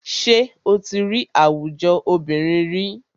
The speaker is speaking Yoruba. Ṣé o tí rí àwùjọ obìnrin ríi?